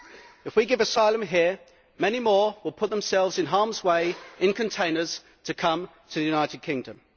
If we give asylum here, many more will put themselves in harm's way in containers to come to the United Kingdom.